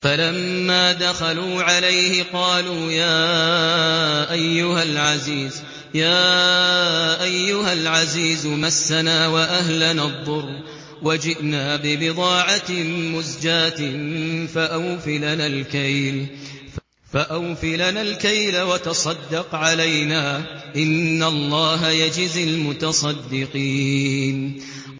فَلَمَّا دَخَلُوا عَلَيْهِ قَالُوا يَا أَيُّهَا الْعَزِيزُ مَسَّنَا وَأَهْلَنَا الضُّرُّ وَجِئْنَا بِبِضَاعَةٍ مُّزْجَاةٍ فَأَوْفِ لَنَا الْكَيْلَ وَتَصَدَّقْ عَلَيْنَا ۖ إِنَّ اللَّهَ يَجْزِي الْمُتَصَدِّقِينَ